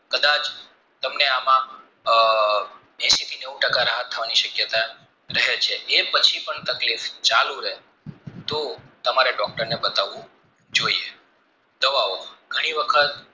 તમને એમાં એંશીથી નેવું ટકા રાહત થવાની શક્યતા રહે છે એ પછી પણ તકલીફ ચાલુ રહે તો તમારે doctor ને બતાવું જોઇએ દવા ઓ ઘણી વખત